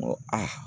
N ko ayi